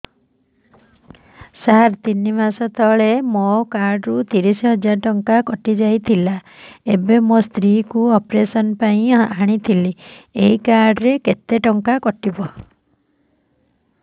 ସାର ତିନି ମାସ ତଳେ ମୋ କାର୍ଡ ରୁ ତିରିଶ ହଜାର ଟଙ୍କା କଟିଯାଇଥିଲା ଏବେ ମୋ ସ୍ତ୍ରୀ କୁ ଅପେରସନ ପାଇଁ ଆଣିଥିଲି ଏଇ କାର୍ଡ ରେ ହବ